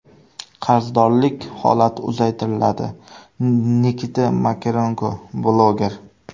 Qarzdorlik holati uzaytiriladi”, – Nikita Makarenko, bloger.